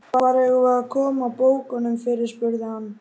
Hvar eigum við að koma bókunum fyrir? spurði hann.